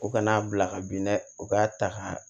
U kana'a bila ka bin dɛ u k'a ta k'a